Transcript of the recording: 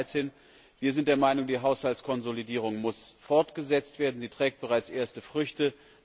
2013. Wir sind der Meinung, die Haushaltskonsolidierung muss fortgesetzt werden, sie trägt bereits erste Früchte.